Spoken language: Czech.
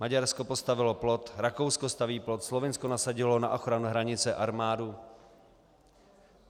Maďarsko postavilo plot, Rakousko staví plot, Slovinsko nasadilo na ochranu hranice armádu.